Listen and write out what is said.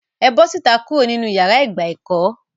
É bọ síta kuro ninu iyàrá ìgbà ẹkọ!